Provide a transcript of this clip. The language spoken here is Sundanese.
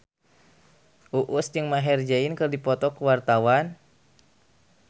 Uus jeung Maher Zein keur dipoto ku wartawan